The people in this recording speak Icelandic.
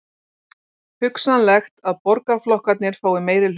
Hugsanlegt að borgaraflokkarnir fái meirihluta